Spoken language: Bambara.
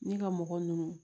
Ni ka mɔgɔ ninnu